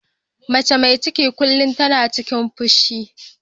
Mace mai ciki kullum tana cikin fushi.